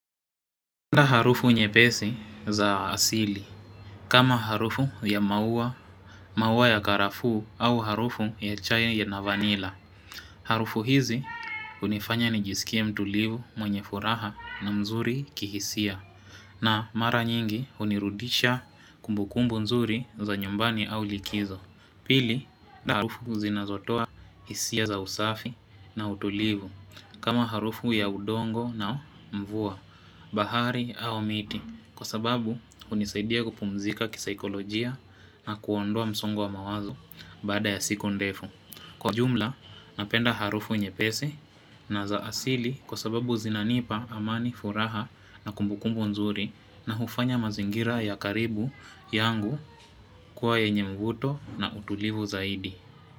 Nda harufu nye pesi za asili, kama harufu ya maua, maua ya karafu au harufu ya chaye na vanila. Harufu hizi unifanya nijisikie mtulivu mwenye furaha na mzuri kihisia. Na mara nyingi unirudisha kumbukumbu mzuri za nyumbani au likizo. Pili na harufu zinazotoa hisia za usafi na utulivu kama harufu ya udongo na mvua bahari au miti Kwa sababu unisaidia kupumzika kisaikolojia na kuondoa msongo wa mawazo bada ya siku ndefu Kwa jumla napenda harufu nye pesi na zaasili kwa sababu zinanipa amani furaha na kumbukumbu nzuri na hufanya mazingira ya karibu yangu kwa yenye mvuto na utulivu zaidi.